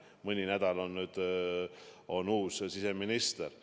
Mõni nädal on nüüd olnud uus siseminister.